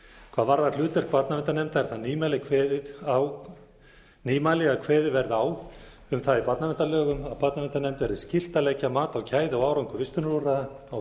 hvað varðar hlutverk barnaverndarnefndar er það nýmæli að kveðið verði á um það í barnaverndarlögum að barnaverndarnefnd verði skylt að leggja mat á gæði og árangur vistunarúrræða á vegum